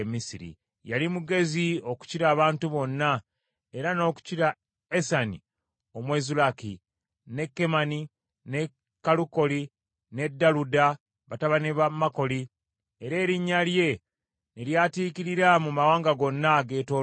Yali mugezi okukira abantu bonna, era n’okukira Esani Omwezulaki, ne Kemani, ne Kalukoli ne Daluda batabani ba Makoli, era erinnya lye ne lyatiikirira mu mawanga gonna ageetoolodde.